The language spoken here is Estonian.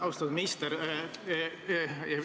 Austatud minister!